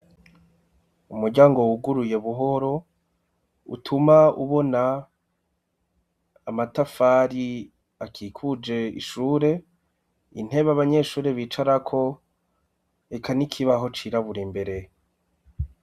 Umuryango wuguruye buhoro utuma ubona amatafari akikuje ishure ,intebe abanyeshure bicarako eka n'ikibaho cirabura imbere.